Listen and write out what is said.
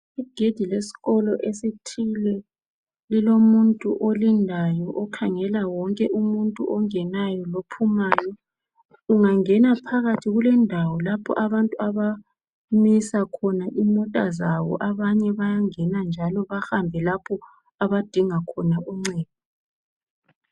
Igedi lesikolo esithile lilomuntu olindayo okhangela wonke umuntu ongenayo lophumayo. Ungangena phakathi kulendawo lapho abamisa khona imota zabo abanye bayangena njalo bahambe lapho abadinga khona uncedo.